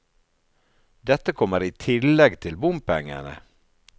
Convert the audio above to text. Dette kommer i tillegg til bompengene.